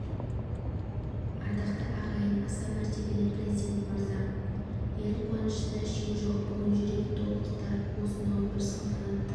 ардақты ағайын аса мәртебелі президент мырза ел қуанышында шек жоқ бүгін жүрек толқытар осынау бір салтанатты